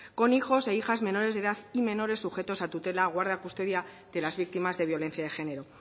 con hijos e hijas menores de edad y menores sujetos a tutela guarda o custodia de las víctimas de violencia de género